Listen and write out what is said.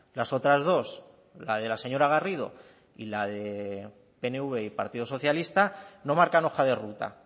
las otras dos la de la señora garrido y la de pnv y partido socialista no marcan hoja de ruta